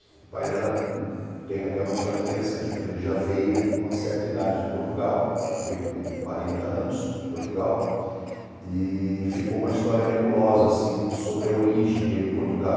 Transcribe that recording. O pai dela tem até uma história interessante, porque ele já veio com uma certa idade de Portugal, já veio com quarenta anos de Portugal, e ficou uma história nebulosa, assim, sobre a origem dele em Portugal.